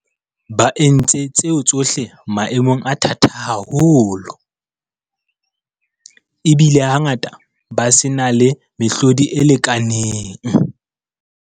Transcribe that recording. Ba entse tseo tsohle maemong a thata haholo, ebile hangata ba se na le mehlodi e lekaneng.